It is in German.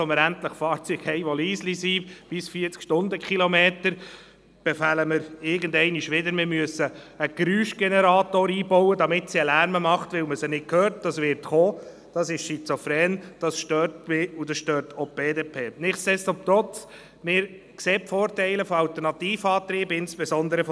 Vor allem in den Städten sollte man, was die Lärmbelastung und die Abgase anbelangt, die Praxistauglichkeit und die Kosten nicht aus den Augen verlieren.